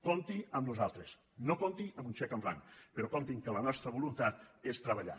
compti amb nosaltres no compti amb un xec en blanc però compti que la nostra voluntat és treballar